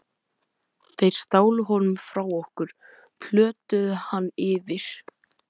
Þeir stálu honum frá okkur, plötuðu hann yfir.